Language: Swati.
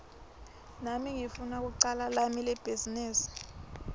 nami ngifuna kucala lami libhizinisi